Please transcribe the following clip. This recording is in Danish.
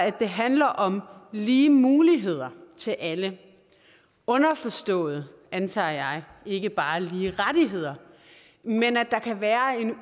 at det handler om lige muligheder til alle underforstået antager jeg ikke bare lige rettigheder men at der kan være en